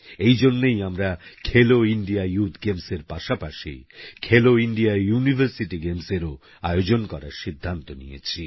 এই জন্যেই আমরা খেলো ইন্ডিয়া ইউথ গেমসের পাশাপাশি খেলো ইন্ডিয়া ইউনিভারসিটি গেমস এর আয়োজন করারও সিদ্ধান্ত নিয়েছি